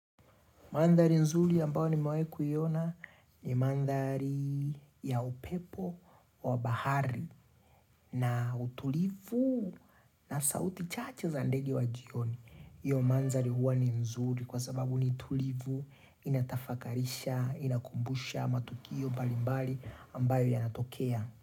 Mandari nzuri ambao nimewaikuyona ni mandari ya upepo wa bahari na utulivu na sauti chache za ndege wa jioni. Iyo mandari huwa ni nzuri kwa sababu ni tulivu inatafakarisha, inakumbusha matukio mbalimbali ambayo yanatokea.